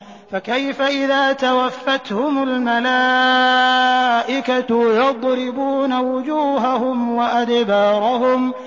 فَكَيْفَ إِذَا تَوَفَّتْهُمُ الْمَلَائِكَةُ يَضْرِبُونَ وُجُوهَهُمْ وَأَدْبَارَهُمْ